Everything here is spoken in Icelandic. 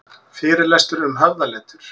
Fyrirlestur um höfðaletur